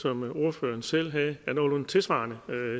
som ordføreren selv havde af nogenlunde tilsvarende